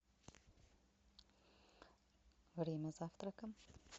время завтрака